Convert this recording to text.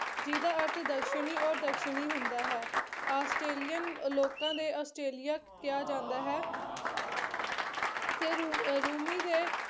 ਜਿਹਦਾ ਅਰਥ ਦਸ਼ਣੀ ਔਰ ਦਸ਼ਣੀ ਹੁੰਦਾ ਹੈ ਆਸਟ੍ਰੇਲੀਅਨ ਲੋਕਾਂ ਦੇ ਆਸਟ੍ਰੇਲੀਆ ਕਿਹਾ ਜਾਂਦਾ ਹੈ ਤੇ ਰੂ ਰੂਮੀ ਦੇ